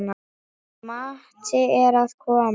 Matti er að koma!